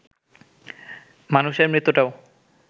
মানুষের মৃত্যুটাও